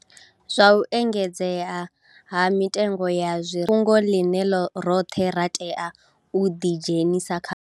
Zwa u engedzea ha mitengo ya zwirengwa ndi fhungo ḽine roṱhe ra tea u ḓidzhenisa khaḽo.